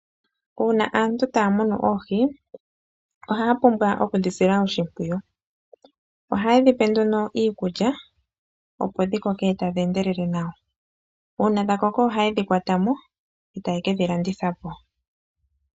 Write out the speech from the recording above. Uuna aantu taya munu oohi ohaya pumbwa okudhisila oshimpwiyu ohaye dhipe nduno iikulya opo dhikoke tadhi endelele nawa uuna dhakoko oha ye dhikwatamo eeta ye kedhilandithapo.